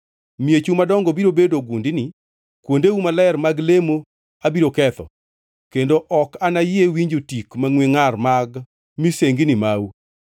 Miechu madongo biro bedo gundni, kuondeu maler mag lemo abiro ketho, kendo ok anayie winjo tik mangʼwe ngʼar mag misengini mau.